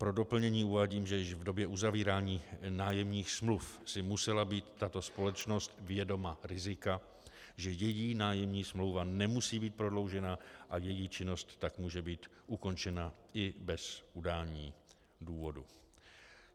Pro doplnění uvádím, že již v době uzavírání nájemních smluv si musela být tato společnost vědoma rizika, že její nájemní smlouva nemusí být prodloužena a její činnost tak může být ukončena i bez udání důvodu.